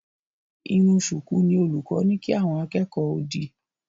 Irun ṣùkú ni olùkọ́ ní kí àwọn akẹ́kọ̀ọ́ ó dì